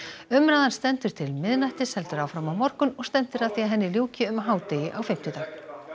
umræðan stendur til miðnættis heldur áfram á morgun og stefnt er að því að henni ljúki um hádegi á fimmtudag